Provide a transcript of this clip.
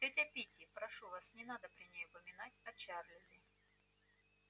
тётя питти прошу вас не надо при ней упоминать о чарлзе